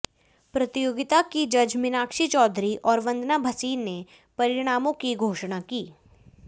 प्रतियोगिता की जज मीनाक्षी चौधरी और वंदना भसीन ने परिणामों की घोषणा की